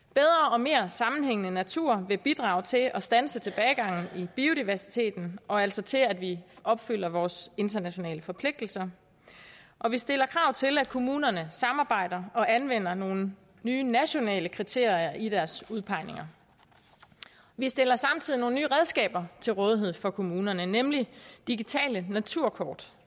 og mere sammenhængende natur vil bidrage til at standse tilbagegangen i biodiversiteten og altså til at vi opfylder vores internationale forpligtelser vi stiller krav til at kommunerne samarbejder og anvender nogle nye nationale kriterier i deres udpegninger vi stiller samtidig nogle nye redskaber til rådighed for kommunerne nemlig digitale naturkort